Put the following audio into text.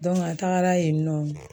Dɔnke a tagara yen nɔ